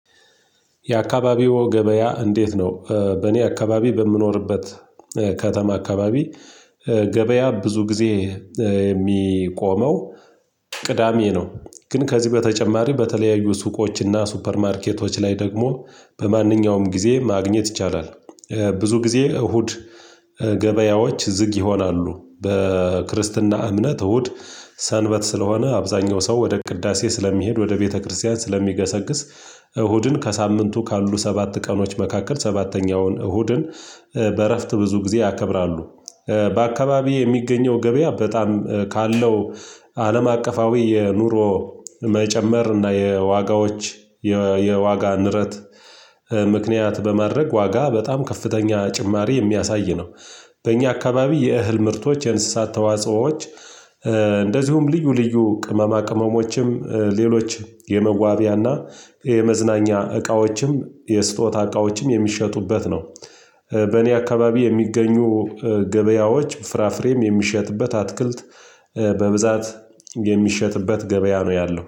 የአካባቢዎ ገበያ እንዴት ነው? በእኔ አካባቢ በምኖርበት ከተማ አካባቢ ገበያ ብዙ ጊዜ የሚቆመው ቅዳሜ ነው ግን ከዚህ በተጨማሪ በተለያዩ ሱቆችና ሱፐር ማርኬቶች ላይ ደግሞ በማንኛውም ጊዜ ማግኘት ይቻላል። ብዙ ጊዜ እሁድ ገበያዎች ዝግ ይሆናሉ በክርስትና እምነት እሁድ ሰንበት ስለሆነ አብዛኛው ሰው ወደ ቅዳሴ ስለሚሄድ ወደ ቤተክርስቲያን ስለሚገሰግስ እሁድን ከሳምንቱ ካሉ ሰባት ቀኖች መካከል ሰባተኛውን እሁድን በእረፍት ብዙ ጊዜ ያከብራሉ። በአካባቢዬ የሚገኘው ገበያ በጣም ካለው አለም አቀፋዊ የኑሮ መጨመር እና የዋጋዎች የዋጋ ንረት ምክንያት በማድረግ ዋጋ በጣም ከፍተኛ ጭማሪ የሚያሳይ ነው። በእኛ አካባቢ የእህል ምርቶች የንስሳት ተዋጽኦዎች እንደዚሁም ልዩ ልዩ ቅመማ ቅመሞችም ሌሎችም የመዋቢያና የመዝናኛ እቃዎችም የስጦታ እቃዎችም የሚሸጡበት ነው። በእኔ አካባቢ የሚገኙ ገበያዎች ፍራፍሬም የሚሸጥበት አትክልት በብዛት የሚሸጥበት ገበያ ነው ያለው